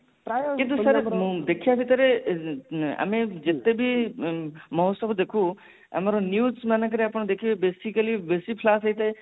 ମୁଁ ଦେଖିବା ଭିତରେ ଆମେ ଯେତେ ବି ମହୋଚ୍ଚବ ଦେଖୁ ଆମର news ମାନଙ୍କ ର ଆପଣ ଦେଖିବେ basically ବେସୀ flash ହେଇଥାଏ